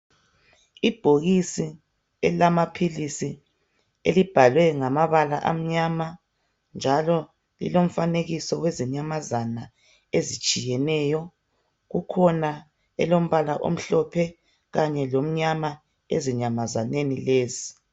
Ibhokisi elamaphilisi elibhalwe ngamabala emnyama njalo lilomfanekiso wezinyamazana ezitshiyeneyo, kukhona elombala omhlophe kanye lomnyama ezinyamazaneni lezi.